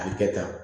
A bɛ kɛ tan